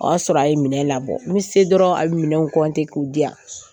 O y'a sɔrɔ a ye minɛ labɔ n se dɔrɔn a bɛ minɛn ɛ k'u diya,